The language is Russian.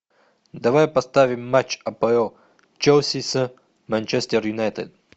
давай поставим матч апл челси с манчестер юнайтед